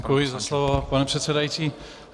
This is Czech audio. Děkuji za slovo, pane předsedající.